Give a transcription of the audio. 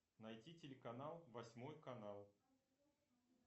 найти телеканал восьмой канал